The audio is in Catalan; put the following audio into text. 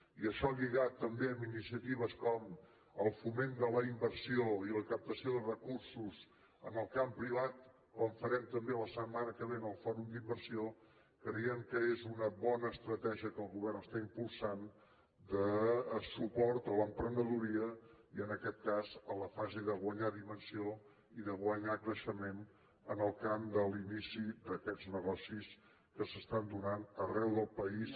i això lligat també a iniciatives com el foment de la inversió i la captació de recursos en el camp privat com farem també la setmana que ve en el fòrum d’inversió creiem que és una bona estratègia que el govern està impulsant de suport a l’emprenedoria i en aquest cas a la fase de guanyar dimensió i de guanyar creixement en el camp de l’inici d’aquests negocis que s’estan donant arreu del país